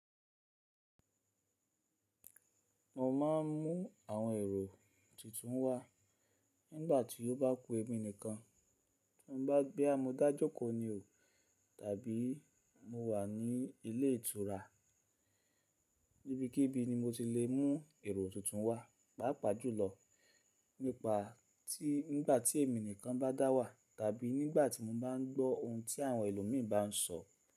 Mo má ń mú àwọn èrò tuntun wá nígbà tí ó bá ku èmi nìkan, tí mo bá boya móda jókòó ni o tàbí mo wà ní ilé ìtura, Ibikíbi ni mo ti le mú èrò tuntun wá, pàápàá jùlọ nípa tí nígbà tí èmi nìkan bá dá wà tàbí nígbà tí mo bá ń gbọ́ ohun tí àwọn ẹlòmíì bá ń sọ.